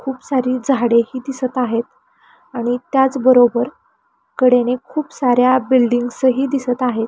खूप सारी झाड ही दिसत आहेत आणि त्याचबरोबर कडेने खूप साऱ्या बिल्डींग्स ही दिसत आहेत.